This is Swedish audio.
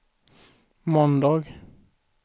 måndag